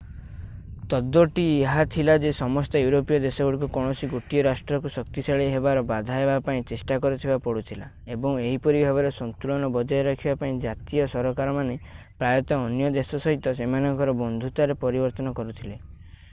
ତତ୍ତ୍ୱଟି ଏହା ଥିଲା ଯେ ସମସ୍ତ ୟୁରୋପୀୟ ଦେଶଗୁଡ଼ିକୁ କୌଣସି ଗୋଟିଏ ରାଷ୍ଟ୍ରକୁ ଶକ୍ତିଶାଳୀ ହେବାରେ ବାଧା ଦେବା ପାଇଁ ଚେଷ୍ଟା କରିବାକୁ ପଡୁଥିଲା ଏବଂ ଏହିପରି ଭାବରେ ସନ୍ତୁଳନ ବଜାୟ ରଖିବା ପାଇଁ ଜାତୀୟ ସରକାରମାନେ ପ୍ରାୟତଃ ଅନ୍ୟ ଦେଶ ସହିତ ସେମାନଙ୍କର ବନ୍ଧୁତାରେ ପରିବର୍ତ୍ତନ କରୁଥିଲେ